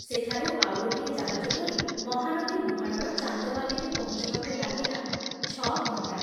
ସେଠାରୁ ଆଉ ଗୋଟିଏ ଜାହାଜ ଧରି ମହାନଦୀ ମୁହାଣର ଚାନ୍ଦବାଲିରେ ପହଞ୍ଚିବାକୁ ଲାଗିଲା ଛ ଘଣ୍ଟା।